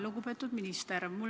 Lugupeetud minister!